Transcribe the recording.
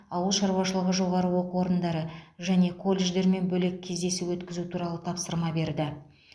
ауыл шаруашылығы жоғары оқу орындары және колледждермен бөлек кездесу өткізу туралы тапсырма берді